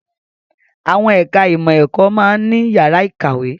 Àwọn ẹ̀ka ìmọ̀ ẹ̀kọ́ máa ń ní yàrá ìkàwé